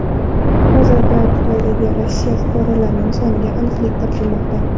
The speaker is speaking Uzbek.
Hozirda Xitoydagi Rossiya fuqarolarning soniga aniqlik kiritilmoqda.